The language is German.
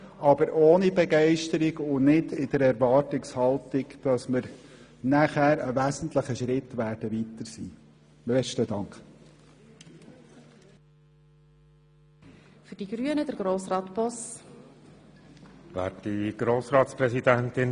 Das geschieht ohne Begeisterung und nicht in der Erwartung, nachher einen wichtigen Schritt weitergekommen zu sein.